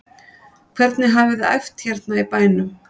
Hvernig hafiði æft hérna í bænum?